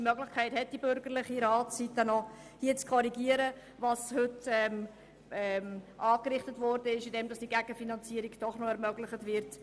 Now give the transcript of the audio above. Die bürgerliche Seite hat die Möglichkeit zu korrigieren, was heute angerichtet worden ist, sodass die Gegenfinanzierung doch noch ermöglicht wird.